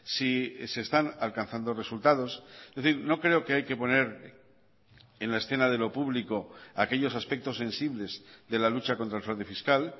si se están alcanzando resultados es decir no creo que hay que poner en la escena de lo público aquellos aspectos sensibles de la lucha contra el fraude fiscal